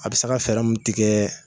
A bɛ se ka fɛrɛ mun tigɛ.